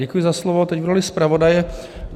Děkuji za slovo, teď v roli zpravodaje.